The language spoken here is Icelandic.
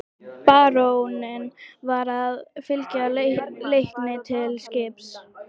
Baróninn var að fylgja Leikni til skips.